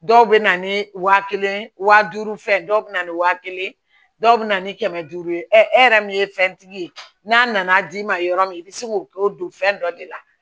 Dɔw bɛ na ni wa kelen wa duuru fɛn dɔw bɛ na ni waa kelen ye dɔw bɛ na ni kɛmɛ duuru ye e yɛrɛ min ye fɛn tigi ye n'a nana d'i ma yɔrɔ min i bɛ se k'o don fɛn dɔ de la